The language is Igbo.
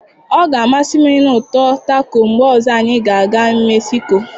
Ọ ga-amasị m ịnụ ụtọ taco mgbe ọzọ anyị ga-aga mexico.